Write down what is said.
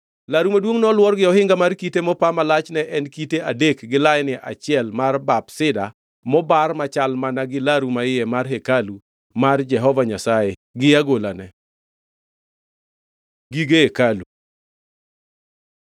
Laru maduongʼ noluor gi ohinga mar kite mopa ma lachne en kite adek gi laini achiel mar bap sida mobar machal mana gi laru maiye mar hekalu mar Jehova Nyasaye gi agolane. Gige hekalu